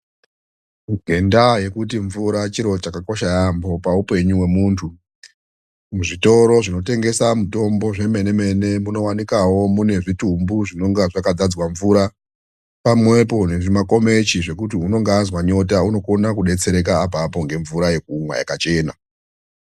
Ngendaa yokuti mvura chiro chakakosha yampho paupenyu hwemunthu. Mwuzvitoro zvinotengesa mitombo zvemene mene munowanikawo mune zvitumbu zvinenge zvakadzadzwa mvura pamwepo nezvimakomechi zvokuti unenge azwa nyota unokona kudetsereka apapo ngemvura yakachena.